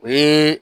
O ye